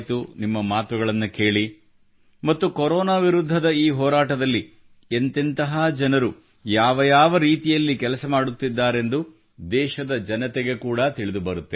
ನಿಮ್ಮ ಮಾತುಗಳನ್ನು ಕೇಳಿ ಮತ್ತು ಕೊರೋನಾ ವಿರುದ್ಧದ ಈ ಹೋರಾಟದಲ್ಲಿ ಎಂತೆಂತಹ ಜನರು ಯಾವ ಯಾವ ರೀತಿಯಲ್ಲಿ ಕೆಲಸ ಮಾಡುತ್ತಿದ್ದಾರೆಂದು ದೇಶದ ಜನತೆಗೆ ಕೂಡಾ ತಿಳಿದು ಬರುತ್ತದೆ